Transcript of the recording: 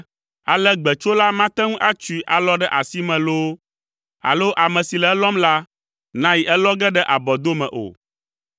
Ale gbetsola mate ŋu atsoe alɔ ɖe asime loo, alo ame si le elɔm la, nayi elɔ ge ɖe abɔdome o.